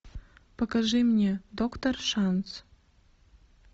покажи мне доктор шанс